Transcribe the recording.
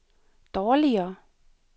dårligere